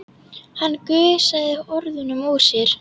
Hann gusaði orðunum út úr sér.